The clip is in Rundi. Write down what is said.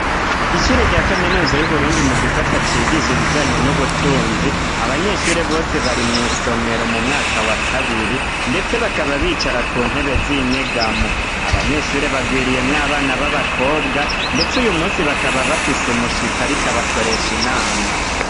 Isure rya kaminuza y'uburundi mu gisata cigisha ibijanye n'ubutunzi abanyeshure bose bari mw'isomero mu mwaka wa kabiri, ndetse bakaba bicara ku ntebe z'inyegamo abanyeshure bagwiriyemwo abana b'abakobwa, ndetse uyu musi bakaba bafise umushitsi arikabakoresha inama.